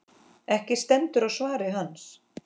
Ekki stendur á svari hans.